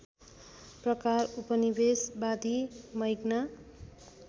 प्रकार उपनिवेशवादी मैग्ना